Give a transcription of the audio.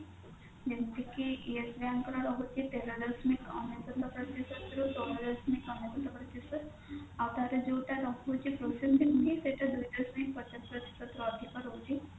ଯେମିତି କି yes bank ର ରହୁଛି ତେର ଦଶମିକ ଅନେଶତ ପ୍ରତିଶତ ରୁ ଚଉଦ ଦଶମିକ ଅନେଶ୍ଵତ ପ୍ରତିଶତ ଆଉ ତାର ଯୋଉଟା ରହୁଛି processing fee ସେଟା ଦୁଇ ଦଶମିକ ପଚାଶ ପ୍ରତିଶତ ରୁ ଅଧିକ ରହୁଛି